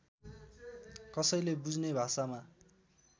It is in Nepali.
कसैले बुझ्ने भाषामा